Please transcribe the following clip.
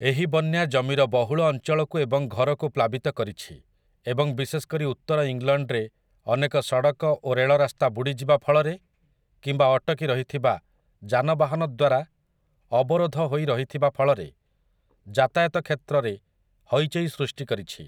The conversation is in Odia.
ଏହି ବନ୍ୟା ଜମିର ବହୁଳ ଅଞ୍ଚଳକୁ ଏବଂ ଘରକୁ ପ୍ଲାବିତ କରିଛି ଏବଂ ବିଶେଷ କରି ଉତ୍ତର ଇଂଲଣ୍ଡରେ ଅନେକ ସଡ଼କ ଓ ରେଳରାସ୍ତା ବୁଡ଼ିଯିବାଫଳରେ କିମ୍ବା ଅଟକି ରହିଥିବା ଯାନବାହନ ଦ୍ୱାରା ଅବରୋଧ ହୋଇ ରହିଥିବା ଫଳରେ ଯାତାୟାତ କ୍ଷେତ୍ରରେ ହଇଚଇ ସୃଷ୍ଟି କରିଛି ।